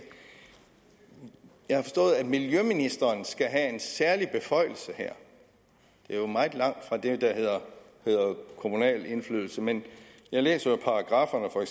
jeg har forstået at miljøministeren skal have en særlig beføjelse her det er meget langt fra det der hedder kommunal indflydelse men jeg læser jo paragrafferne for